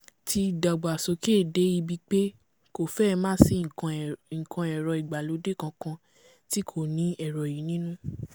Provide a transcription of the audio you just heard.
ti dàgbà sókè dé ibi pé kò fẹ́ẹ másìí nǹkan ẹ̀rọ ìgbàlódé kankan tí kò ní ẹ̀rọ yìí nínú